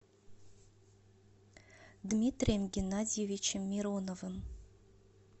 дмитрием геннадьевичем мироновым